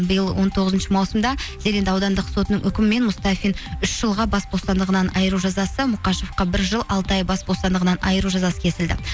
биыл он тоғызыншы маусымда зеренді аудандық сотының үкімімен мустафин үш жылға бас бостандығынан айыру жазасы мұқашевқа бір жыл алты ай бас бостандығынан айыру жазасы кесілді